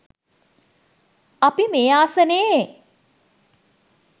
අපි මේ ආසනයේ